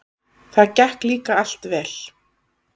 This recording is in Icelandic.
Það gekk líka allt vel.